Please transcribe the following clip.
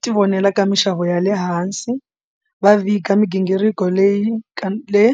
ti vonela ka mixavo ya le hansi va vika migingiriko leyi ka le.